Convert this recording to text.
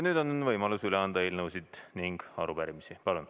Nüüd on võimalus üle anda eelnõusid ning arupärimisi.